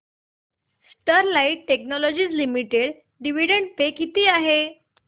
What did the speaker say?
Sterlite technologies limited dividend pay किती आहे